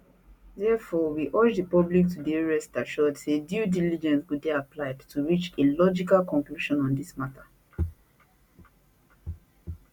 therefore we urge the public to dey rest assured say due diligence go dey applied to reach a logical conclusion on dis mata